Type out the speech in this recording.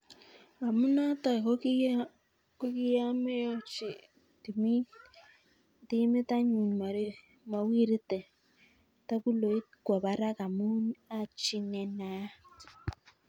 Amunoto kokiameochi timit anyun mowirte toguloit kwo barak amu achi nenaat.